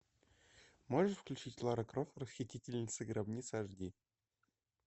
можешь включить лара крофт расхитительница гробниц аш ди